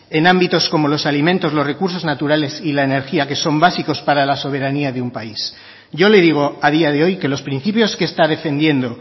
en ámbitos como los alimentos los recursos naturales y la energía que son básicos para la soberanía de un país yo le digo a día de hoy que los principios que está defendiendo